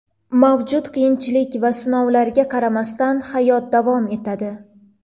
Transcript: Mavjud qiyinchilik va sinovlarga qaramasdan, hayot davom etadi.